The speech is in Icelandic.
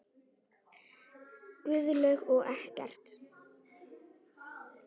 Guðlaug og Eggert.